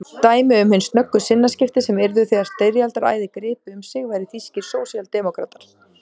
Dæmi um hin snöggu sinnaskipti sem yrðu þegar styrjaldaræði gripi um sig væru þýskir sósíaldemókratar.